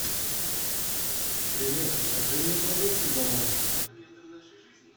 привет закажи мне продукты домой